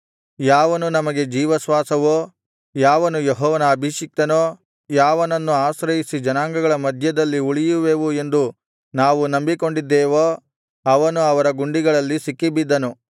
ಯಾವನು ನಮಗೆ ಜೀವಶ್ವಾಸವೋ ಯಾವನು ಯೆಹೋವನ ಅಭಿಷಿಕ್ತನೋ ಯಾವನನ್ನು ಆಶ್ರಯಿಸಿ ಜನಾಂಗಗಳ ಮಧ್ಯದಲ್ಲಿ ಉಳಿಯುವೆವು ಎಂದು ನಾವು ನಂಬಿಕೊಂಡಿದ್ದೆವೋ ಅವನು ಅವರ ಗುಂಡಿಗಳಲ್ಲಿ ಸಿಕ್ಕಿಬಿದ್ದನು